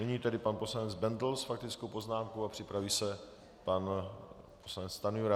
Nyní tedy pan poslanec Bendl s faktickou poznámkou a připraví se pan poslanec Stanjura.